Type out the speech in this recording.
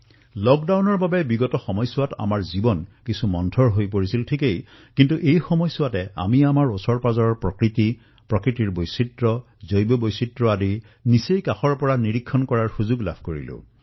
লকডাউনৰ সময়ছোৱাত বিগত কিছু সপ্তাহত জীৱনৰ গতি স্থবিৰ নিশ্চয় হৈছে কিন্তু ইয়াপ দ্বাৰা নিজৰ চৌপাশ প্ৰকৃতিৰ সমৃদ্ধ বৈচিত্ৰতা জৈৱ বৈচিত্ৰতাক কাষৰ পৰা দেখাৰ অৱকাশ লাভ কৰিছো